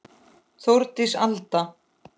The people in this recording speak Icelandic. Þórdís Alda.